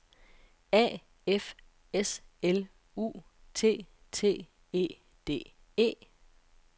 A F S L U T T E D E